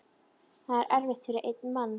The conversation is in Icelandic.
Það er erfitt fyrir einn mann.